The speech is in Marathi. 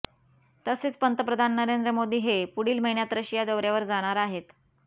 तसेच पंतप्रधान नरेंद्र मोदी हे पुढील महिन्यात रशिया दौऱ्यावर जाणार आहेत